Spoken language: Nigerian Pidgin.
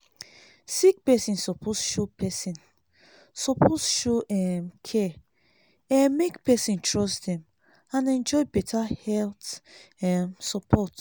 sick person suppose show person suppose show um care um make person trust dem and enjoy better health um support.